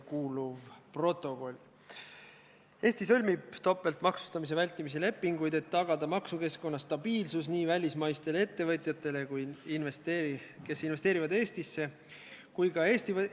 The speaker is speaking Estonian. Kuna esimene muudatusettepanek leidis siin saalis toetust ja see väga oluliselt muudab meresõiduohutuse seadust ning nagu ma oma sõnavõtus ütlesin, saadikud ei ole saanud selle n-ö uue muudatusega eelnõu kohta muudatusettepanekuid teha, kas siis juhatus ei kaalu eelnõu lugemise katkestamist?